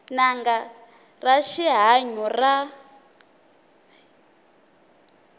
n anga ya rihanyu ra